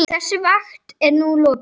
Þessari vakt er nú lokið.